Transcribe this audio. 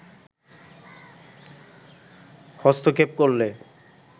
হস্তক্ষেপ করলে